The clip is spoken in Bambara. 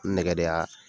Nɛgɛ de y'a